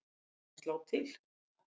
Á ekki bara að slá til?